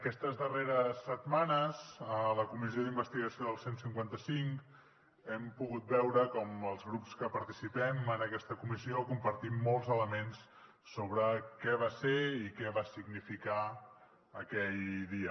aquestes darreres setmanes a la comissió d’investigació del cent i cinquanta cinc hem pogut veure com els grups que participem en aquesta comissió compartim molts elements sobre què va ser i què va significar aquell dia